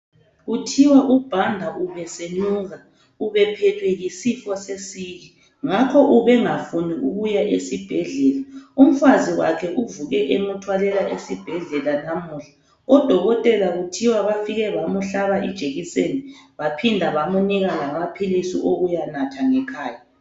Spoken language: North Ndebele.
Kuthiwa uBhanda ubesenuka, ubephethwe yisifo sesiki ngakho ubengafuni ukuya esibhedlela umfazi wakhe uvuke emuthwalela esibhedlela namuhla, odokotela kuthiwa bafike bamuhlaba ijekiseni baphinda bamunika lamaphilisi okuyanatha ngekhaya.